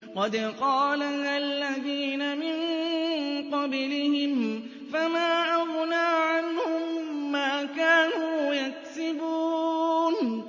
قَدْ قَالَهَا الَّذِينَ مِن قَبْلِهِمْ فَمَا أَغْنَىٰ عَنْهُم مَّا كَانُوا يَكْسِبُونَ